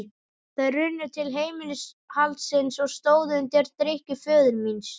Þau runnu til heimilishaldsins og stóðu undir drykkju föður míns.